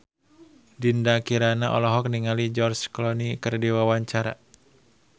Dinda Kirana olohok ningali George Clooney keur diwawancara